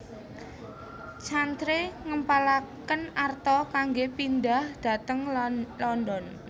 Chantrey ngempalaken arta kanggé pindhah dhateng London